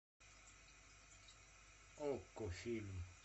окко фильм